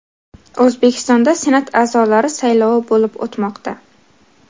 O‘zbekistonda Senat a’zolari saylovi bo‘lib o‘tmoqda.